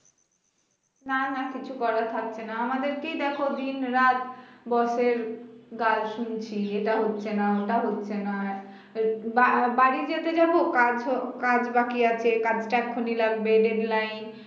না না কিছু করার থাকছে না আমাদেরকেই দেখ দিন রাত boss এর গাল শুনছি এটা হচ্ছে না ওটা হচ্ছে না এ বা~ বাড়ি যেতে যাব কাজ হো কাজ বাকি আছে কাজটা এক্ষুনি লাগবে deadline